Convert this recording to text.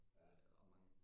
Det er ret mange